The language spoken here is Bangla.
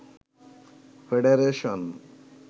ফেডারেশন